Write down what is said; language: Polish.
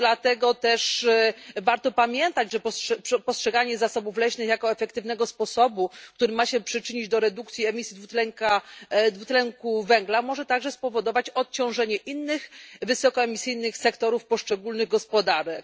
Dlatego też warto pamiętać, że postrzeganie zasobów leśnych jako efektywnego sposobu, który ma się przyczynić do redukcji emisji dwutlenku dwutlenku węgla, może także spowodować odciążenie innych wysokoemisyjnych sektorów poszczególnych gospodarek.